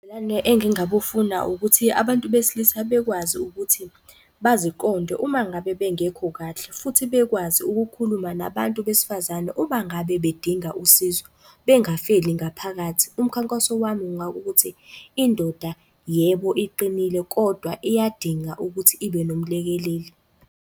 Ubudlelwane engingabufuna ukuthi abantu besilisa bekwazi ukuthi baziqonde uma ngabe bengekho kahle, futhi bekwazi ukukhuluma nabantu besifazane uma ngabe bedinga usizo, bengafeli ngaphakathi. Umkhankaso wami ngabe ukuthi, indoda yebo, iqinile kodwa iyadinga ukuthi ibe nomlekeleli.